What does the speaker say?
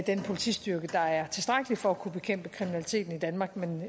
den politistyrke der er tilstrækkelig for at kunne bekæmpe kriminaliteten i danmark